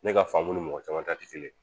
Ne ka faamu ni mɔgɔ caman ta tɛ kelen ye